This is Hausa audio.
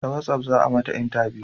Ta watsaf za a mata intabiyu